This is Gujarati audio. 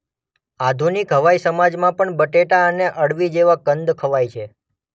આધુનિક હવાઈ સમાજમાં પણ બટેટા અને અળવી જેવા કંદ ખવાય છે.